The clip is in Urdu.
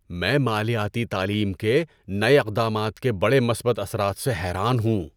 میں مالیاتی تعلیم کے نئے اقدامات کے بڑے مثبت اثرات سے حیران ہوں۔